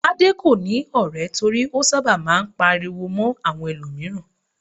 Tade kò ní ọ̀rẹ́ torí ó sábà máa ń pariwo mọ́ àwọn ẹlòmíràn.